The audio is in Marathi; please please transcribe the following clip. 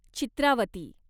चित्रावती